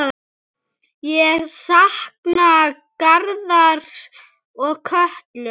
Ég sakna Garðars og Köllu.